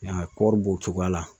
I y'a ye kɔɔri b'o cogoya la